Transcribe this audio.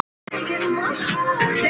Og biðina.